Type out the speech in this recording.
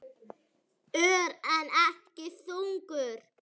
Ör, en ekki þungur.